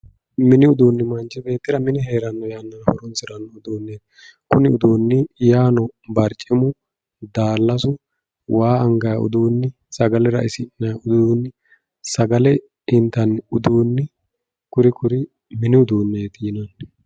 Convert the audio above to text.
mini uduuni manch beettira mine heeranno yannara horonsiranno uduuneeti kuni uduuni yaano barcimu, daalasu, waa angayi uduuni, sagale ra"isi'nayi uduuni, sagale intanni uduuni kuri kuri mini uduuneeti yinanni.